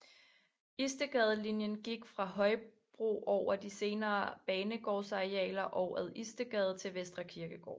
Istedgadelinien gik fra Højbro over de senere banegårdsarealer og ad Istedgade til Vestre Kirkegård